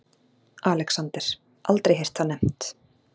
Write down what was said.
ALEXANDER: Aldrei heyrt það nefnt.